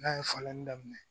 N'a ye falenni daminɛ